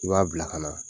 I b'a bila ka na